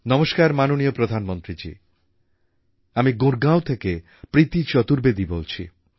নমস্কার মাননীয় প্রধানমন্ত্রীজী আমি গুড়গাঁও থেকে প্রীতি চতুর্বেদী বলছি